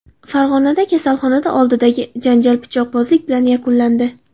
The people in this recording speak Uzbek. Farg‘onada kasalxona oldidagi janjal pichoqbozlik bilan yakunlandi.